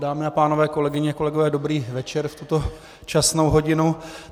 Dámy a pánové, kolegyně, kolegové, dobrý večer v tuto časnou hodinu.